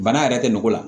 Bana yɛrɛ tɛ mɔgɔ la